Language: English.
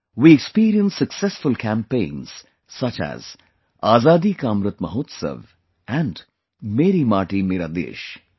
We experienced successful campaigns such as 'Azadi Ka Amrit Mahotsav' and 'Meri Mati Mera Desh'